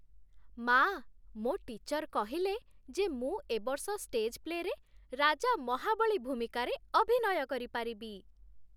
ମା', ମୋ' ଟିଚର୍ କହିଲେ ଯେ ମୁଁ ଏ ବର୍ଷ ଷ୍ଟେଜ୍ ପ୍ଲେରେ 'ରାଜା ମହାବଳୀ' ଭୂମିକାରେ ଅଭିନୟ କରିପାରିବି ।